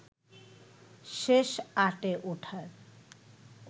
শেষ আটে ওঠার